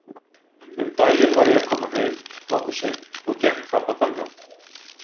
Um daginn var ég að koma heim, nokkuð seint, og gekk þarna fram hjá.